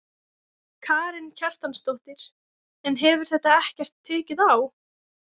Karen Kjartansdóttir: En hefur þetta ekkert tekið á?